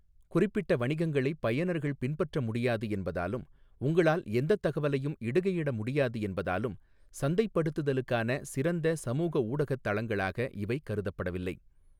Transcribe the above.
குறிப்பிட்ட வணிகங்களைப் பயனர்கள் 'பின்பற்ற' முடியாது என்பதாலும் உங்களால் எந்தத் தகவலையும் இடுகையிட முடியாது என்பதாலும் சந்தைப்படுத்துதலுக்கான சிறந்த சமூக ஊடகத் தளங்களாக இவை கருதப்படவில்லை.